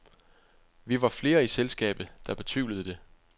Vi var flere i selskabet, der betvivlede det.